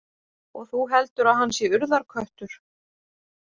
Og þú heldur að hann sé Urðarköttur?